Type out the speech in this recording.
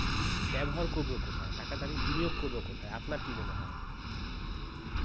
ব্যবহার করব কোথায়? মানে টাকাটা বিনিয়োগ করবো কোথায়? আপনার কি মনে হয়?